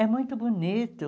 É muito bonito.